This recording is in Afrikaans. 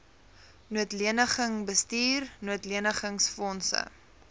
noodleniging bestuur noodlenigingsfondse